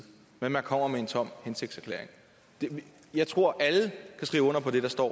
men man kommer med en tom hensigtserklæring jeg tror alle kan skrive under på det der står